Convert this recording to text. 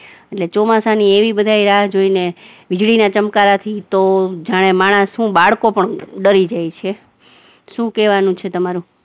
અને ચોમાસાની એવી બધા રાહ જોવે ને, વીજળીના ચમકારાથી તો જાણે માણસ નઈ બાળકો પણ ડરી જાય છે શું કેવાનું છે તમારું?